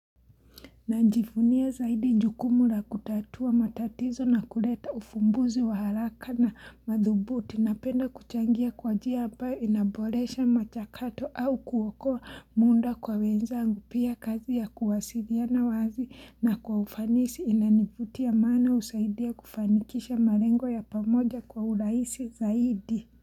Najivunia zaidi njukumula kutatua matatizo na kuleta ufumbuzi wa haraka na madhubuti napenda kuchangia kwa njia ambayo inaboresha machakato au kuwako munda kwa wenzangu. Pia kazi ya kuwasiliana wazi na kwa ufanisi inanifutia maana husaidia kufanikisha malengo ya pamoja kwa uraisi zaidi.